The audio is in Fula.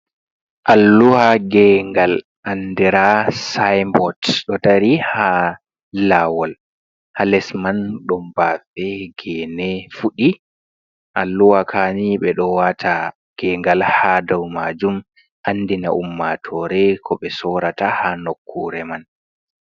Alluha nge gal andira siybot, ɗo dari ha lawol, haa les man ɗon bafe gene fuɗi. Alluha kaanii ɓe ɗo wata nge gal ha dow majum andina ummatore ko ɓe soorata ha nokkure man.